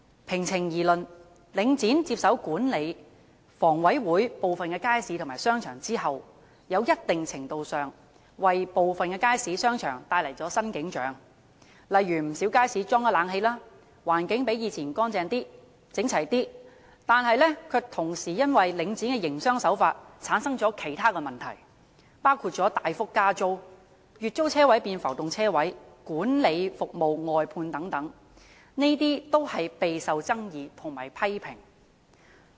平情而論，領展接手管理房委會部分街市和商場後，在一定程度上為部分街市和商場帶來了新景象，例如不少街市加裝了冷氣，環境較以往乾淨及整齊，但卻同時因領展的營商手法而產生其他問題，包括大幅加租、月租車位變浮動車位及管理服務外判等，這些均是備受爭議和批評的。